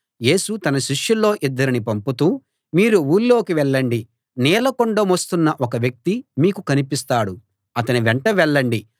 యేసు తన శిష్యుల్లో ఇద్దరిని పంపుతూ మీరు ఊళ్ళోకి వెళ్ళండి నీళ్ళ కుండ మోస్తున్న ఒక వ్యక్తి మీకు కనిపిస్తాడు అతని వెంట వెళ్ళండి